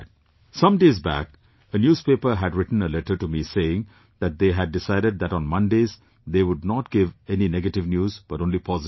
Some days back a newspaper had written a letter to me saying that they had decided that on Mondays they would not give any negative news but only positive news